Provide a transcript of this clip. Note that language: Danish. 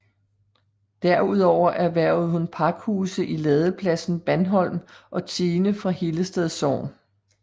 Derudover erhvervede hun pakhuse i ladepladsen Bandholm og tiende fra Hillested Sogn